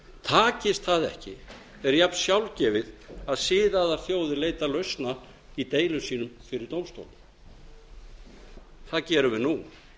takist það ekki er jafn sjálfgefið að siðaðar þjóðir leita lausna í deilum sínum fyrir dómstólum það gerum við nú